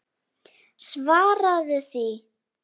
Svaraðu því!